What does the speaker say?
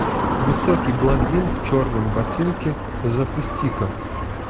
высокий блондин в черном ботинке запусти ка